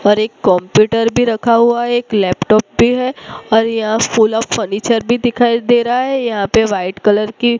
पर एक कंप्यूटर भी रखा हुआ है एक लैपटॉप भी है और यह फूल ऑफ फर्नीचर भी दिखाई दे रहा है यहां पे वाइट कलर की--